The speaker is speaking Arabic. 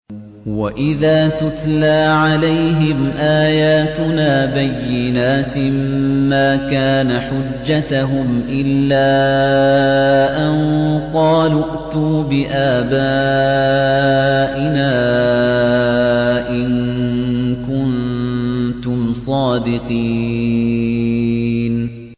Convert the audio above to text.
وَإِذَا تُتْلَىٰ عَلَيْهِمْ آيَاتُنَا بَيِّنَاتٍ مَّا كَانَ حُجَّتَهُمْ إِلَّا أَن قَالُوا ائْتُوا بِآبَائِنَا إِن كُنتُمْ صَادِقِينَ